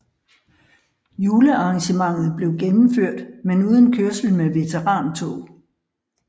Julearrangementet blev gennemført men uden kørsel med veterantog